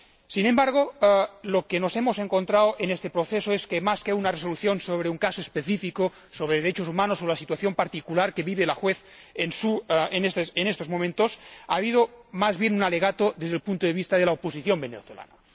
Sin embargo, lo que nos hemos encontrado en este proceso es que, más que una resolución sobre un caso específico de violación de los derechos humanos, o la situación particular que vive la jueza en estos momentos, ha habido más bien un alegato desde el punto de vista de la oposición venezolana.